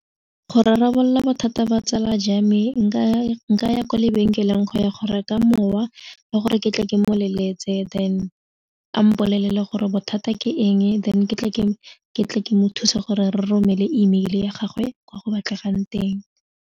Go rarabolola bothata ba tsala jwa me nka nkaya kwa lebenkeleng go ya go reka mowa ba gore ke tle ke mo leletse then a mpolele gore bothata ke eng then ke tle ke mo thusa gore re romele emeile ya gagwe kwa go batlegang teng.